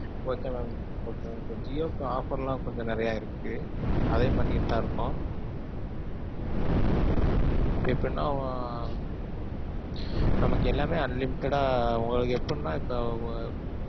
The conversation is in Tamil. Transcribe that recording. Okay mam okay okay. ஜியோக்கு offer லாம் கொஞ்சம் நிறைய இருக்கு. அதையும் பண்ணிட்டு தான் இருக்கோம். இப்ப என்னவாம் நமக்கு எல்லாமே unlimited ஆ உங்களுக்கு எப்படினா இப்போ~